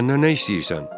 Məndən nə istəyirsən?